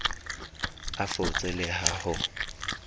a fotse le ha ho